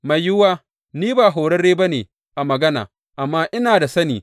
Mai yiwuwa ni ba horarre ba ne a magana, amma ina da sani.